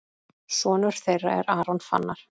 Sonur þeirra er Aron Fannar.